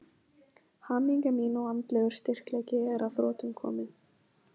Hamingja mín og andlegur styrkleiki er að þrotum kominn.